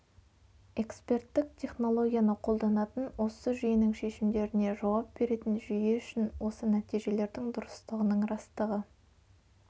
экспертік технологияны қолданатын осы жүйегенің шешімдеріне жауап беретін жүйе үшін осы нәтижелердің дұрыстығының растығы